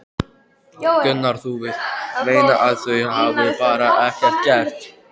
Gunnar: Þú vilt meina að þau hafi bara ekkert gert?